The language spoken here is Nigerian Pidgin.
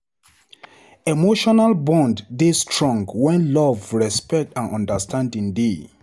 Emotional bonds dey strong when love, respect, and understanding dey.